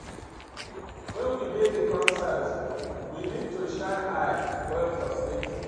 When we dey di concert, we need to shine eye well for safety